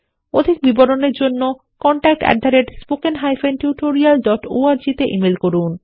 অধিক বিবরণের জন্যcontactspoken tutorialorg তে ইমেল করুন